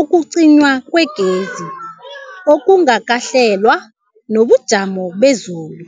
ukucinywa kwegezi okungakahlelwa, nobujamo bezulu.